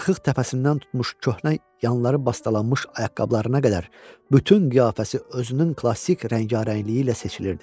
Qırıq-qırıq təpəsindən tutmuş köhnə yanları bastalanmış ayaqqabılarına qədər bütün qiyafəsi özünün klassik rəngarəngliyi ilə seçilirdi.